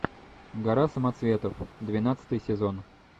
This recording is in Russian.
гора самоцветов двенадцатый сезон